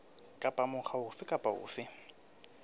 kapa mokga ofe kapa ofe